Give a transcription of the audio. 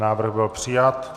Návrh byl přijat.